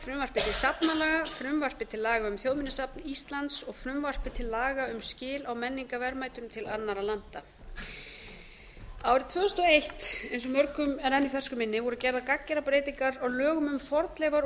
safnalaga frumvarpið til laga um þjóðminjasafn íslands og frumvarpið til laga um skil á menningarverðmætum til annarra landa árið tvö þúsund og eitt eins og mörgum er enn í fersku minni voru gerðar gagngerar breytingar á lögum um fornleifar og